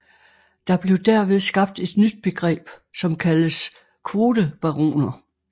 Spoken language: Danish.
Der blev derved skabt et nyt begreb som kaldes kvotebaroner